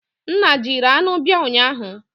Nna jiri anụ bia ụnyahụ?